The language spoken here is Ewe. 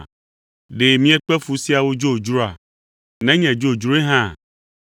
Ɖe miekpe fu siawo dzodzroa, nenye dzodzroe hã?